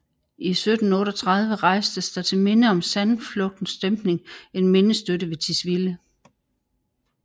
I 1738 rejstes der til minde om sandflugtens dæmpning en mindestøtte ved Tisvilde